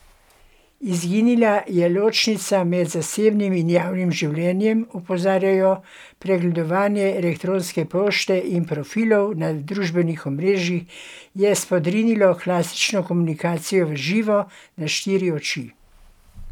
Izginila je ločnica med zasebnim in javnim življenjem, opozarjajo, pregledovanje elektronske pošte in profilov na družabnih omrežjih je spodrinilo klasično komunikacijo v živo, na štiri oči.